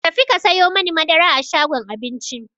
Ta fi ka sayo mani madara a shagon Aminci!